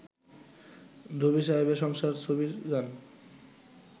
দবির সাহেবের সংসার ছবির গান